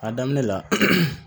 A daminɛ la